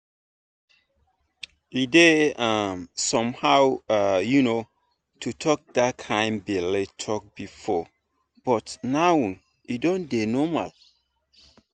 e dey um somehow um to talk that kind belle talk before but now e don dey normal.